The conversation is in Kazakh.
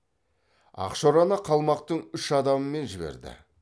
ақшораны қалмақтың үш адамымен жіберді